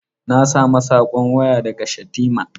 Na sami saƙon waya daga Shatima.